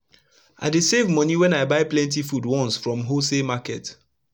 i dey save moni wen i buy plenti food once from wholesale market